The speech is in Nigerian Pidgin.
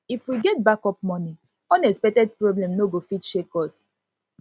if we get backup money unexpected problem no go fit shake us